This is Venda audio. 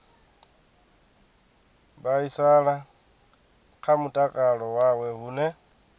vhaisala kha mutakalo wawe hune